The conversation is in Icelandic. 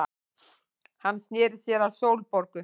Hann sneri sér að Sólborgu.